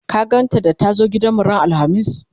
ka gan ta da ta zo gidanmu ran alhamis?